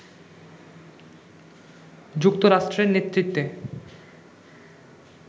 যুক্তরাষ্ট্রের নেতৃত্বে